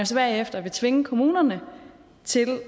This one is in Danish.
så bagefter vil tvinge kommunerne til